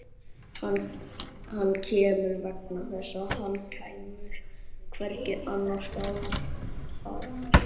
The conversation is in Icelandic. Hann kemur vegna þess að hann kemst hvergi annars staðar að.